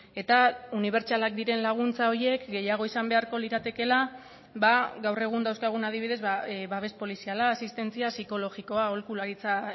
eta unibertsalak diren laguntza horiek gehiago izan beharko liratekeela gaur egun dauzkagun adibidez babes poliziala asistentzia psikologikoa aholkularitza